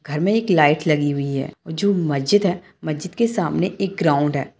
घर में एक लाइट लगी हुई है और जो मस्जिद है मस्जिद के सामने एक ग्राउन्ड है।